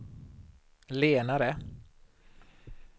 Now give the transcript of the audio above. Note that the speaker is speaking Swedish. lenare